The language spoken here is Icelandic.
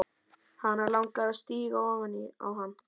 Hana langar að stíga ofan á hann.